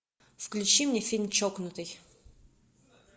включи мне фильм чокнутый